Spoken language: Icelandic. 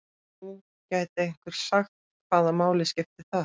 Nú gæti einhver sagt: Hvaða máli skiptir það?